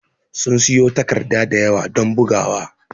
Sun siƴo takarɗa ɗayawa don ɓugawa.